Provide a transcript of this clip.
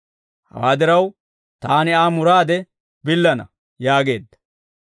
Hawaa diraw taani Aa muraade billana» yaageedda.